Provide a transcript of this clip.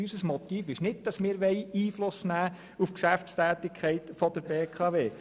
Unser Motiv ist nicht die Einflussnahme auf die Geschäftstätigkeit der BKW.